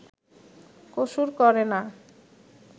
কসুর করে না